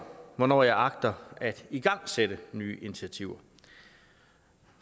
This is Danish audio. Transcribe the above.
hvornår jeg agter at igangsætte nye initiativer